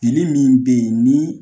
min bɛ ye ni